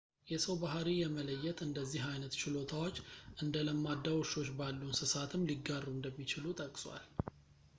የሰው ባሕሪ የመለየት እንደዚህ ዓይነት ችሎታዎች እንደ ለማዳ ውሾች ባሉ እንሰሳትም ሊጋሩ እንደሚችሉ ጠቅሷል